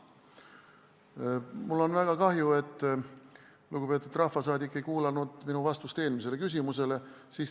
Mul on väga kahju, et lugupeetud rahvasaadik ei kuulanud minu vastust eelmisele küsimusele.